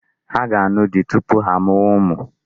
Ha ga-anụ di tupu ha amụwa ụmụ.